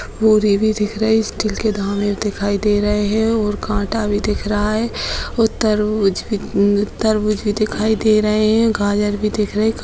भी दिख रही स्टील के दाने दिखाई दे रहे है और काटा भी दिख रहा है और तरबूज भी अ तरबूज भी दिखाई दे रहे है और गाजर भी दिख रहे है।